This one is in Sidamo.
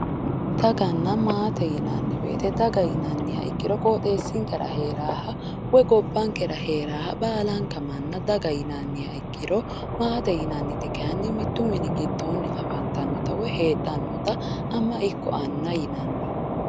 Daganna maate yinanni woyiite daga yiniha ikkiro qooxeessinkera heeraaha woy gobbankera heeraaha baalanka manna daga yinanniha ikkiro maate yinanniti kaayiinni mittu mini giddoonni afantannota woyi heedhannota ama woyi anna yinanni.